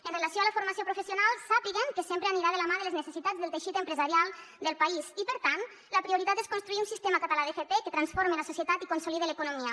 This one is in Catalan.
amb relació a la formació professional sàpiguen que sempre anirà de la mà de les necessitats del teixit empresarial del país i per tant la prioritat és construir un sistema català d’fp que transforme la societat i consolide l’economia